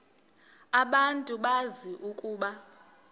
abantu bazi ukuba